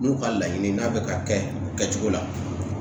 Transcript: N'u ka laɲini n'a bɛ ka kɛ kɛcogo la